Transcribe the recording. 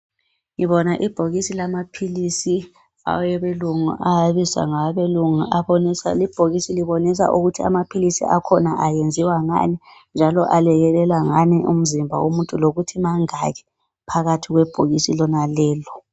Ngibona ibhokisi lamaphilisi awabelungu abizwa ngawabelungu ibhokisi libonisa ukuthi amaphilisi akhona ayenziwa ngani njalo alekelela ngani umzimba womuntu lokuthi mangaki phakathi kwebhokisi lalo